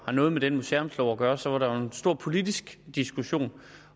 har noget med den museumslov at gøre så var der jo en stor politisk diskussion